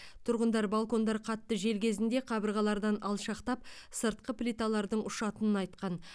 тұрғындар балкондар қатты жел кезінде қабырғалардан алшақтап сыртқы плиталардың ұшатынын айтқан